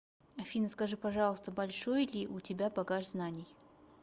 афина скажи пожалуйста большой ли у тебя багаж знаний